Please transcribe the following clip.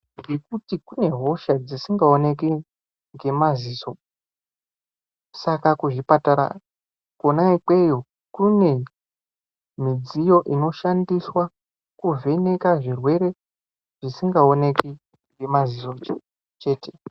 Ngekuti kune hosha dzisingaoneki ngemaziso. Saka kuzvipatara kwona ikweyo kune midziyo inoshandiswa kuvheneka zvirwere zvisingaoneki ngemaziso chete.